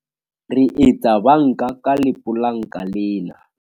re etsa banka ka lepolanka lena